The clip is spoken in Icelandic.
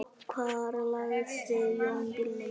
Hvar lagði Jón bílnum?